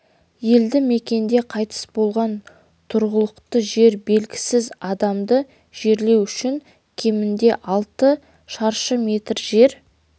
елді мекенде қайтыс болған тұрғылықты жер белгісіз адамды жерлеу үшін кемінде алты шаршы метр жер